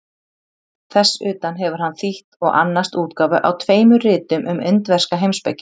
Þess utan hefur hann þýtt og annast útgáfu á tveimur ritum um indverska heimspeki.